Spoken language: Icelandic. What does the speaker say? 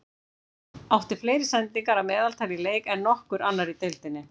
Átti fleiri sendingar að meðaltali í leik en nokkur annar í deildinni.